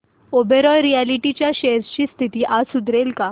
Oberoi realty च्या shares ची स्थिती आज सुधारेल का